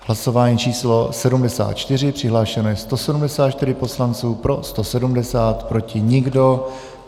Hlasování číslo 74, přihlášeno je 174 poslanců, pro 170, proti nikdo.